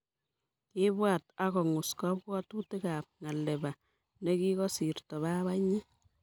kiipwat akongus kapwatutikap ngalepa nekikosirto babanyi